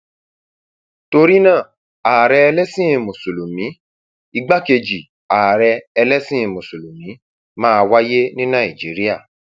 torí náà ààrẹ ẹlẹsìn mùsùlùmí igbákejì ààrẹ ẹlẹsìn mùsùlùmí máa wáyé ní nàìjíríà